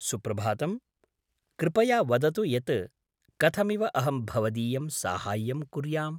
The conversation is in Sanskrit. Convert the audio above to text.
सुप्रभातम्, कृपया वदतु यत् कथमिव अहं भवदीयं साहाय्यं कुर्याम्?